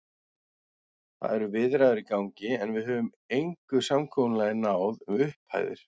Það eru viðræður í gangi, en við höfum engu samkomulagi náð um upphæðir.